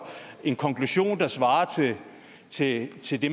en konklusion der svarer til til det